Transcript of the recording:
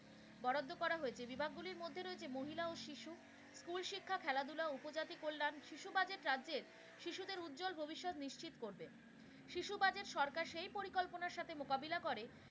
বরাদ্দ করা হয়েছে, বিভাগগুলির মধ্যে রয়েছে মহিলা ও শিশু school শিক্ষা, খেলাধুলা, উপজাতি কল্যাণ। শিশু budget রাজ্যের শিশুদের উজ্জল ভবিষ্যত নিশ্চিত করবে। শিশু budget সরকার সেই পরিকল্পনার সাথে মোকাবিলা করে,